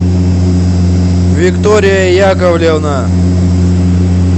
виктория яковлевна